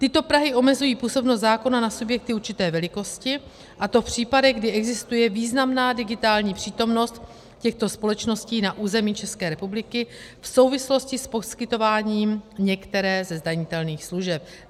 Tyto prahy omezují působnost zákona na subjekty určité velikosti, a to v případech, kdy existuje významná digitální přítomnost těchto společností na území České republiky v souvislosti s poskytováním některé ze zdanitelných služeb.